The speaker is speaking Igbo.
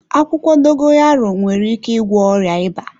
Akwụkwọ Dogoyaro nwere ike ịgwọ ọrịa ịba.